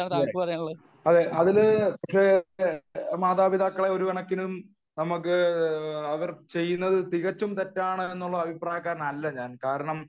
അതെ അതിൽ പക്ഷെ മാതാപിതാക്കളെ ഒരു കണക്കിന് നമ്മക്ക് അവർ ചെയ്യുന്നത് തികച്ചും തെറ്റാണെന്നുള്ള അഭിപ്രായക്കാരനല്ല ഞാൻ കാരണം